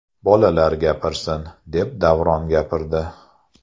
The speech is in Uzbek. Bolalar gapirsin’ deb Davron gapirdi.